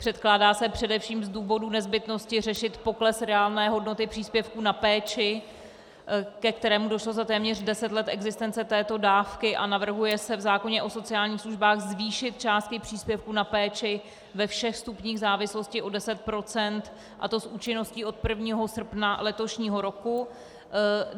Předkládá se především z důvodu nezbytnosti řešit pokles reálné hodnoty příspěvků na péči, ke kterému došlo za téměř deset let existence této dávky, a navrhuje se v zákoně o sociálních službách zvýšit částky příspěvků na péči ve všech stupních závislosti o 10 %, a to s účinností od 1. srpna letošního roku.